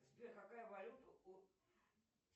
сбер какая валюта у